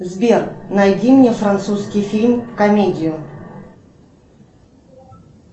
сбер найди мне французский фильм комедию